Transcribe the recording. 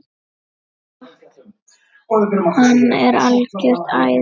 Rok, hann er algjört æði.